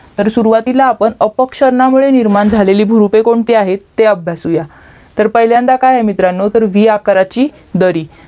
तर सुरूवातीला आपण अपक्षरनामुळे निर्माण झालेली भुरुपे कोणती आहेत ते अभ्यासूया तर पहिल्यांदा काय आहे मित्रांनो तर व्ही आकाराची नदी